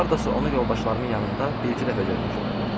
Hardasa onu yoldaşlarımın yanında bir-iki dəfə görmüşdüm.